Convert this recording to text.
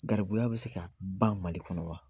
Garibuya bɛ se ka ban Mali kɔnɔ wa?